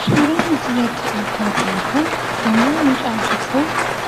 Suuraan asirratti argaa jirru kun yommuu mucaan tokko